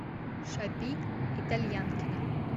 шапи итальянкина